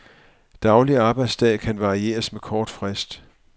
Daglig arbejdsdag kan varieres med kort frist.